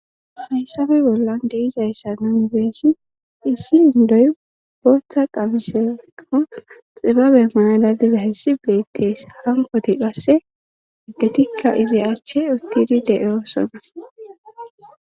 hayssabe bollan de'izayssa nniu e;ihns issi indoy bortha qamsenqo xibabe mayala diza hissi beettes hankoti qasse iddetikka izi achche uttidi de7oosona